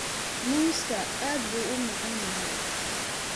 Muuska aad buu u macaan yahay.